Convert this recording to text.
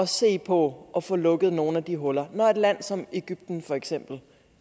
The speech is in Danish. se på at få lukket nogle af de huller når for eksempel et land som egypten